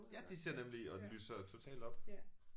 Ja de ser nemlig og lyser totalt op